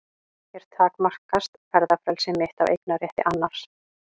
Hér takmarkast ferðafrelsi mitt af eignarétti annars.